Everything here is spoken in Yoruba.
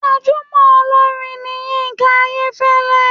Gbajúmọ̀ olórin ni Yínká Ayéfẹ́lẹ́.